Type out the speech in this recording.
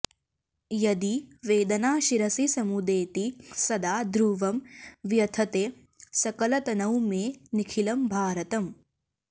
यदि वेदना शिरसि समुदेति सदा ध्रुवं व्यथते सकलतनौ मे निखिलं भारतम्